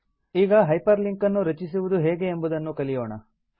ಈಗ hyperlink ಅನ್ನು ರಚಿಸುವುದು ಹೇಗೆ ಎಂಬುದನ್ನು ಕಲಿಯೋಣ